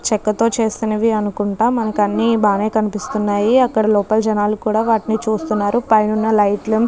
చెక్కతో చేసినవి అనుకుంటా మనకి అన్ని బానే కనిపిస్తున్నాయి అక్కడ లోపల జెనలు కూడా వాటిని చూస్తున్నారు. పైన ఉన్న లైట్లు --